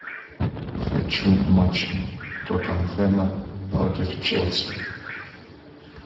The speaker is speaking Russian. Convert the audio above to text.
хочу матч тоттенхэма против челси